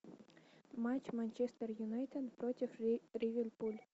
матч манчестер юнайтед против ливерпуль